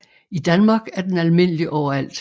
I Danmark er den almindelig overalt